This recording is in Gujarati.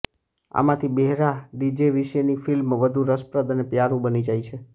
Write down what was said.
આમાંથી બહેરા ડીજે વિશેની ફિલ્મ વધુ રસપ્રદ અને પ્યારું બની જાય છે